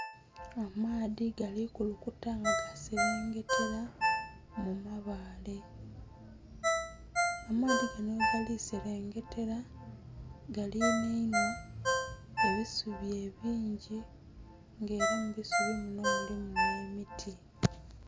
Amaadhi gali kulunkuta nga gaserengetera mu mabale, amaadhi ganho ghegali serengetera galinheinhwa ebisubi ebingi nga era mu busubi muno mulimu nhe miti.